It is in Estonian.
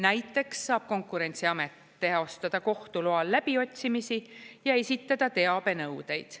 Näiteks saab Konkurentsiamet teostada kohtu loal läbiotsimisi ja esitada teabenõudeid.